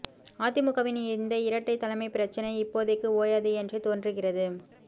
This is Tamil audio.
அதிமுகவின் இந்த இரட்டைத் தலைமை பிரச்சனை இப்போதைக்கு ஓயாது என்றே தோன்றுகிறது